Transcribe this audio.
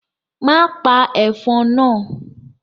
Má pa ẹ̀fọn náà.